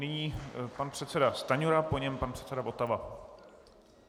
Nyní pan předseda Stanjura, po něm pan předseda Votava.